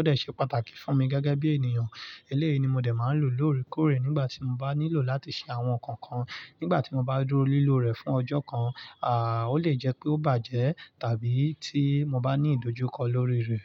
ó dẹ̀ se pàtàkì fún mi gẹ́gẹ́ bi eniyan. Eléyìí ni mo dé máa ń lò lóore kóòrè nígbà tí mo bá nílò láti ṣe àwọn nǹkan kan. Nígbà tí mo bá dúró lílò rẹ̀ fún ọjọ́ kan, à, ó lè jẹ́ pé ó bàjẹ́ tàbí tí mo bá ní ìdojúkọ lórí rẹ̀.